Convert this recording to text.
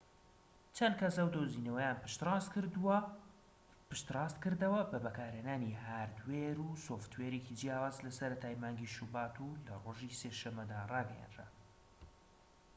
چەند کەس ئەو دۆزینەوەیان پشتڕاستکردەوە بە بەکارهێنانی هاردوێر و سۆفتوێرێکی جیاواز لەسەرەتای مانگی شوبات و لە ڕۆژی سێشەممەدا ڕاگەیەندرا